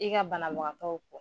I ka banabagatɔ